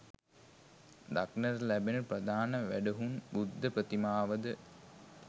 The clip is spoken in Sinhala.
දක්නට ලැබෙන ප්‍රධාන වැඩහුන් බුද්ධ ප්‍රතිමාව ද